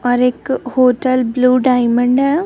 और एक hotel Blue Diamond है।